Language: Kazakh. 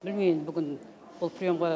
білмеймін енді бүгін бұл приемға